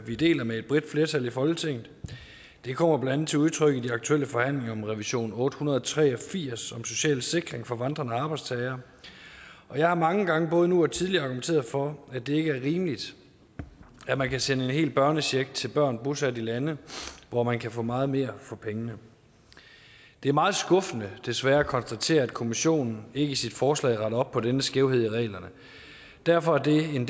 vi deler med et bredt flertal i folketinget og det kommer blandt andet til udtryk i de aktuelle forhandlinger om revision otte hundrede og tre og firs om social sikring for vandrende arbejdstagere jeg har mange gange både nu og tidligere argumenteret for at det ikke er rimeligt at man kan sende en hel børnecheck til børn bosat i lande hvor man kan få meget mere for pengene det er meget skuffende desværre at konstatere at kommissionen ikke i sit forslag retter op på denne skævhed i reglerne derfor er det en